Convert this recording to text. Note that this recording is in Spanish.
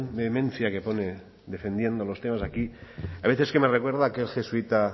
vehemencia que pone defendiendo los temas aquí a veces es que me recuerda a aquel jesuita